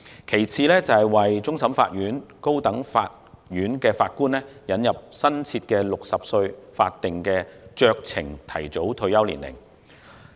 其次，為終審法院及高等法院的法官引入新設的60歲法定酌情提早退休年齡。